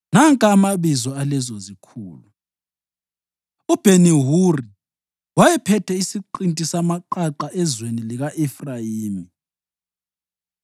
Nanka amabizo alezozikhulu: uBheni-Huri wayephethe isiqinti samaqaqa ezweni lika-Efrayimi;